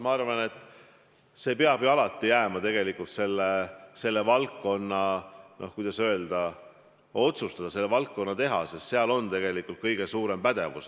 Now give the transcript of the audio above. Arvan, et selle hinnang peab jääma selle valdkonna, kuidas öelda, otsustada, selle valdkonna teha, sest seal on tegelikult kõige suurem pädevus.